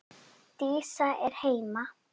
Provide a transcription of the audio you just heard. Dísa er heima!